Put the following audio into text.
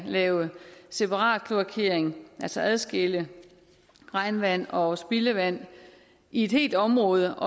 lave separatkloakering altså adskille regnvand og spildevand i et helt område